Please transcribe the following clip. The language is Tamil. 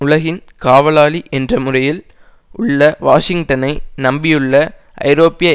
உலகின் காவலாளி என்ற முறையில் உள்ள வாஷிங்டனை நம்பியுள்ள ஐரோப்பிய